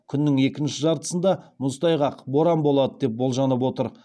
күннің екінші жартысында мұзтайғақ боран болады деп болжанып отыр